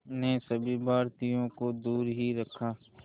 ने सभी भारतीयों को दूर ही रखा